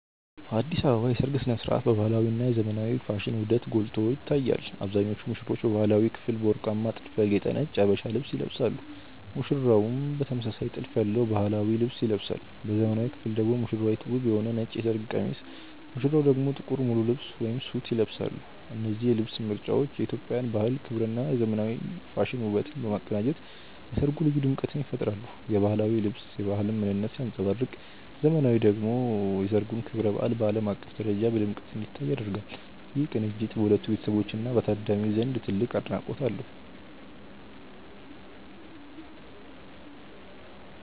በአዲስ አበባ የሰርግ ሥነ ሥርዓቶች የባህላዊ እና የዘመናዊ ፋሽን ውህደት ጎልቶ ይታያል። አብዛኞቹ ሙሽሮች በባህላዊው ክፍል በወርቃማ ጥልፍ ያጌጠ ነጭ የሀበሻ ልብስ ይለብሳሉ ሙሽራውም ተመሳሳይ ጥልፍ ያለው ባህላዊ ልብስ ይለብሳል። በዘመናዊው ክፍል ደግሞ ሙሽራይቱ ውብ የሆነ ነጭ የሰርግ ቀሚስ ሙሽራው ደግሞ ጥቁር ሙሉ ልብስ (ሱት) ይለብሳሉ። እነዚህ የልብስ ምርጫዎች የኢትዮጵያን ባህል ክብርና የዘመናዊ ፋሽን ውበትን በማቀናጀት ለሠርጉ ልዩ ድምቀት ይፈጥራሉ። የባህላዊው ልብስ የባህልን ምንነት ሲያንጸባርቅ ዘመናዊው ልብስ ደግሞ የሠርጉን ክብረ በዓል በዓለም አቀፍ ደረጃ በድምቀት እንዲታይ ያደርጋል። ይህ ቅንጅት በሁለቱ ቤተሰቦችና በታዳሚው ዘንድ ትልቅ አድናቆት አለው።